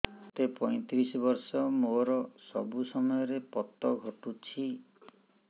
ମୋତେ ପଇଂତିରିଶ ବର୍ଷ ମୋର ସବୁ ସମୟରେ ପତ ଘଟୁଛି